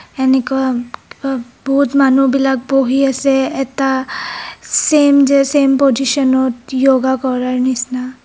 এনেকুৱা কিবা বহুত মানুহবিলাক বহি আছে এটা চেইম যে চেইম পজিছনত য়োগা কৰাৰ নিচিনা।